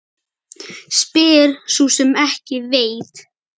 Spyr sú sem ekki veit.